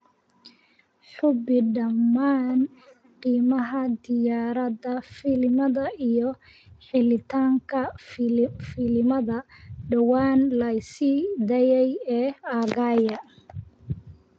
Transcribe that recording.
Hubi dhammaan qiimaha tiyaatarada filimada iyo helitaanka filimada dhowaan la sii daayay ee aaggayga